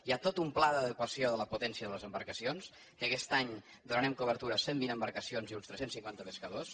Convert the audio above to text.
hi ha tot un pla d’adequació de la potència de les embarcacions que aquest any donarem cobertura a cent vint embarcacions i uns tres cents cinquanta pescadors